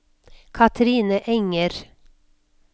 Kathrine Enger